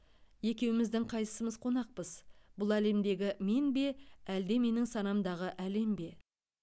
екеуміздің қайсымыз қонақпыз бұл әлемдегі мен бе әлде менің санамдағы әлем бе